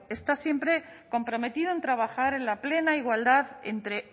está siempre comprometido en trabajar en la plena igualdad entre